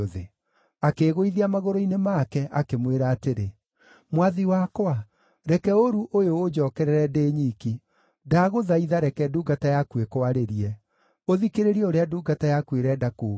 Akĩĩgũithia magũrũ-inĩ make, akĩmwĩra atĩrĩ, “Mwathi wakwa, reke ũũru ũyũ ũnjookerere ndĩ nyiki. Ndagũthaitha, reke ndungata yaku ĩkwarĩrie; ũthikĩrĩrie ũrĩa ndungata yaku ĩrenda kuuga.